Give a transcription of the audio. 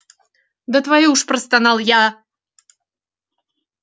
да твою ж простонал я